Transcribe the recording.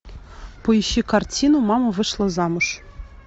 поищи картину мама вышла замуж